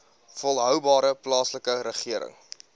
volhoubare plaaslike regering